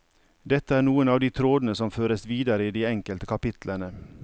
Dette er noen av de trådene som føres videre i de enkelte kapitlene.